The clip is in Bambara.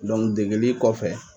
degeli kɔfɛ.